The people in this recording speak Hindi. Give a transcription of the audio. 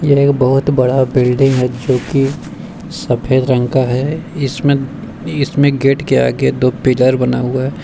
ये एक बहुत बड़ा बिल्डिंग है जो की सफेद रंग का है इसमें इसमें गेट के आगे दो पिलर बना हुआ है।